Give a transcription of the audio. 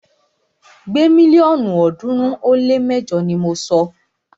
Gbé mílíọ̀nù ọ̀ọ́dúnrún ó lé mẹjọ ni mọ sọ!